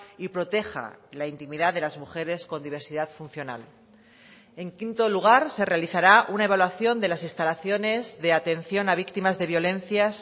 y proteja la intimidad de las mujeres con diversidad funcional en quinto lugar se realizará una evaluación de las instalaciones de atención a víctimas de violencias